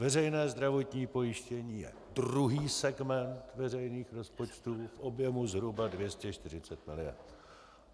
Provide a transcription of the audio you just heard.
Veřejné zdravotní pojištění je druhý segment veřejných rozpočtů v objemu zhruba 240 mld.